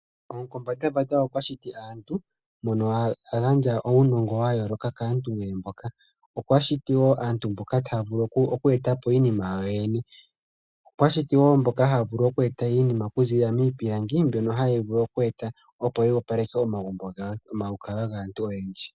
Omukombandambanda okwa shiti aantu mono a gandja uunongo wa yooloka kaantu nee mboka. Okwa shiti wo aantu mboka taya vulu oku eta po iinima yawo yoyene. Okwa shiti wo mboka haya vulu oku eta iinima okuziilila miipilangi mbyono hayi vulu oku eta opo yi opaleke omalukalwa gaantu oyendji.